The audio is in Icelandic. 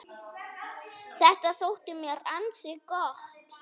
Þetta þótti mér ansi gott.